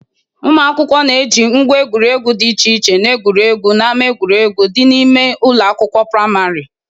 Ụmụ akwụkwọ na-eji ngwa egwuregwu dị iche iche na-egwuriegwu n'ama egwuregwu dị n'ime ụlọ akwụkwọ prịmarị.